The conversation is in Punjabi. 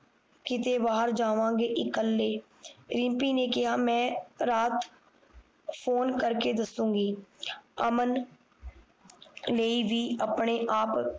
ਕਿੱਤੇ ਵਾਰ ਜਾਵਾਂਗੇ ਇੱਕਲੇ ਰਿਮਪੀ ਨੇ ਕਿਹਾ ਮੈਂ ਰਾਤ ਫੋਨ ਕਰਕੇ ਦੱਸੂਗੀ ਅਮਨ ਨੇ ਵੀ ਆਪਣੇ ਆਪ